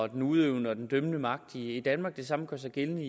den udøvende og den dømmende magt i danmark det samme gør sig gældende